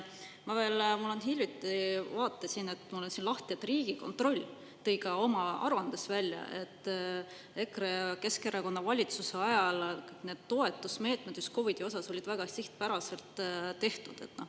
Ma hiljuti vaatasin, mul on siin lahti, et Riigikontroll tõi ka oma aruandes välja, et EKRE ja Keskerakonna valitsuse ajal need toetusmeetmed just COVID-i osas olid väga sihtpäraselt tehtud.